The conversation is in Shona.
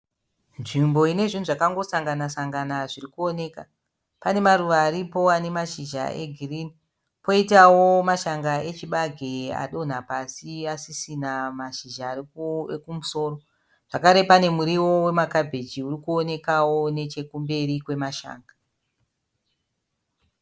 Nzvimbo inezvhinhu zvakangosangana sangana zvirikuoneka pane maruva aripo ane mashizha egirini koitavo mashanga echibage adonha pasi asisina mashizha ekumusoro. Zvekare panemurivo wemakabhagi urikuonekawo nechekumberi kwemashanga.